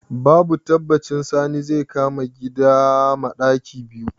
Babu tabbaci Sani zai kama gida ma ɗaki biyu.